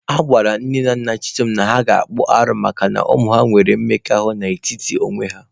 Agwara Nne na Nna Chisom na ha ga-akpụ arụ makana ụmụ nwere mmekọahụ n'etiti onwe ha.